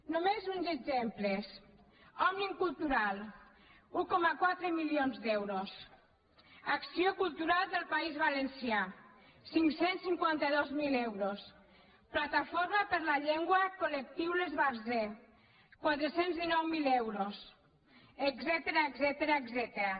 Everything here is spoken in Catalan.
només uns exemples òmnium cultural un coma quatre milions d’euros acció cultural del país valencià cinc cents i cinquanta dos mil euros plataforma per la llengua col·lectiu l’esbarzer quatre cents i dinou mil euros etcètera